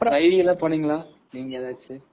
IV எதாவது போன்னீங்களா நீங்க ஏதாச்சு.